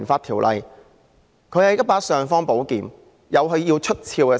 《條例》是一把"尚方寶劍"，自有它需要出鞘之時。